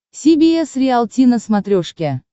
си би эс риалти на смотрешке